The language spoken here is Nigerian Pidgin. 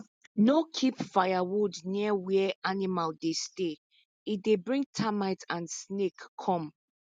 no keep firewood near where animal dey stay e dey bring termite and snake come